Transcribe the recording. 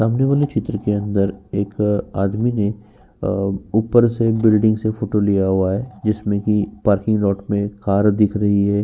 सामने वाले चित्र के अंदर एक आदमी ने अ ऊपर से बिल्डिंग से फोटो लिया हुआ है जिसमें कि पार्किंग लॉट में कार दिख रही हैं।